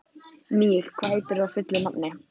Mír, hvað heitir þú fullu nafni?